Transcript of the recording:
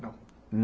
Não.